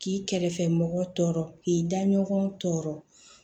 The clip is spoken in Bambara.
K'i kɛrɛfɛ mɔgɔw tɔɔrɔ k'i da ɲɔgɔn sɔrɔ